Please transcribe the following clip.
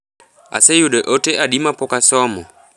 Aseyudo ote adi mapok asomo?